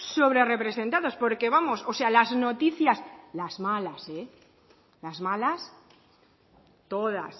sobre representados porque vamos o sea las noticias las malas eh las malas todas